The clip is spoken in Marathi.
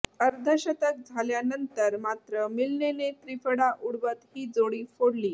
अर्धशतक झाल्यानंतर मात्र मिल्नेने त्रिफळा उडवत ही जोडी फोडली